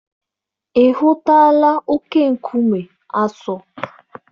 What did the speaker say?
Ị hụtụla oke-nkume Aso